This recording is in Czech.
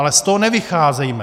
Ale z toho nevycházejme.